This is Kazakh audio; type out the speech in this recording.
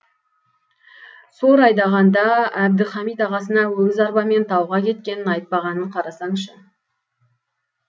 сор айдағанда әбдіхамит ағасына өгіз арбамен тауға кеткенін айтпағанын қарасаңшы